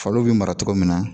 Faliw bɛ mara cogo min na